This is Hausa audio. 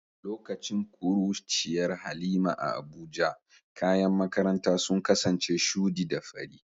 Lokacin kuruciyar Halima a Abuja, kayan makaranta sun kasance shudi da fari.